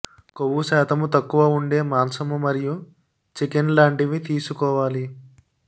కొవ్వు శాతము తక్కువ ఉండే మాంసము మరియు చికెన్ లాంటివి తీసుకోవాలి